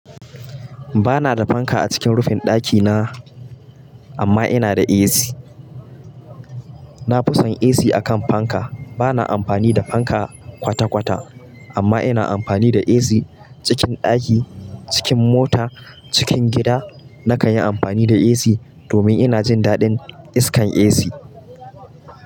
Ba na da fanka a cikin rufin dakina, amma ina da AC. Na fi son AC akan fanka. Ba na amfani da fanka kwata-kwata, amma ina amfani da AC cikin daki, cikin mota, cikin gida na kan yi amfani da AC domin ina jin daɗin iskar AC.